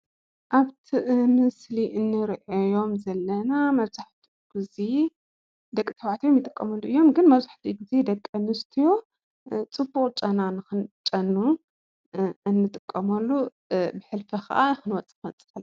ኣብቲ ምስሊ እንሪኦም ዘለና መብዛሕቲኦም ግዜ ደቂ ተባዕትዮ ይጥቀምሉ እዮም። ግን መብዛሕቲኡ ግዜ ደቂ ኣንስትዮ ፅቡቕ ጨና ንኽንጨኑ እንጥቀመሉ ብሕልፊ ክዓ ክንወፅእ ክንወፅእ ከለና።